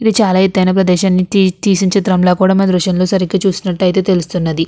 ఇది చాలా ఎత్తైన ప్రదేశాన్ని తీసి తీసి చిత్రంల కూడా మనం దృశ్యంలో సరిగ్గా చూసినట్టయితే తెలుస్తున్నది.